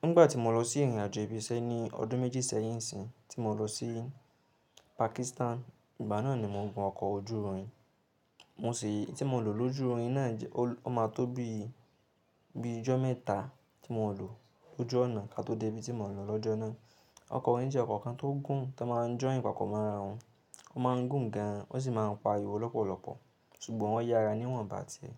Nígbà tí mo lọ sí ìrìnàjò ibi iṣẹ́ ní ọdún méjì sẹ́yìn nsin, tí mo lọ sí Pakistan, ìgbà náà ni mo gun ọkọ̀ ojú irin. Mo sì ti mo lò lójú irin náà, ó ma tó bí bi ijọ́ mẹ́ta tí mo lò lójú ọ̀nà ka tó dé ibi tí mo ń lọ lọ́jọ́ náà. Ọkọ̀ irin jẹ́ ọkọ̀ kan tó gùn tan má ń join papo mo rá wọn. Ó ma ń gùn gan, ó sì ma ń pa arìwo lọ́pọ̀lọpọ̀, ṣùgbọ́n o yára níwọ̀n bà tí ẹ.